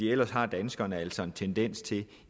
ellers har danskerne altså en tendens til